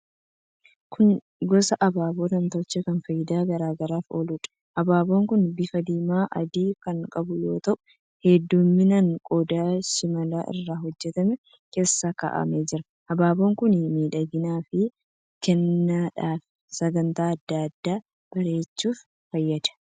Kun gosa abaaboo namtolchee kan faayidaa garaa garaaf ooluudha. Abaaboon kun bifa diimaafi adii kan qabu yoo ta'u, heddumminaan qodaa shimala irraa hojjetame keessa kaa'amee jira. Abaaboon kun miidhaginaaf, kennaadhaafi sagantaa adda addaa bareechuuf fayyada.